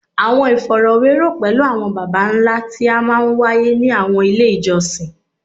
Awọn ifọrọwerọ pẹlu awọn baba nla ti a maa n waye ni awọn ile ijọsin